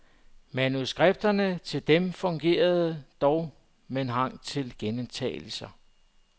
Manuskripterne til dem fungerer, dog med hang til gentagelser.